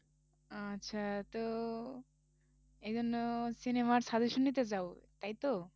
আচ্ছা তো এই জন্য cinema র suggestion নিতে চাও তাইতো?